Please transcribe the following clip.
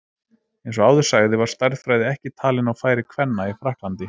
Eins og áður sagði var stærðfræði ekki talin á færi kvenna í Frakklandi.